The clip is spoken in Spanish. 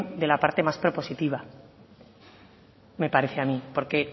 de la parte más propositiva me parece a mí porque